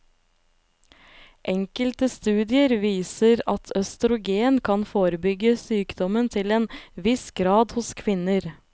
Enkelte studier viser at østrogen kan forebygge sykdommen til en viss grad hos kvinner.